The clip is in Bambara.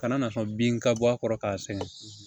Kana na sɔn bin ka bɔ a kɔrɔ ka sɛgɛn